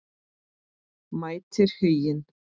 Mætir Huginn?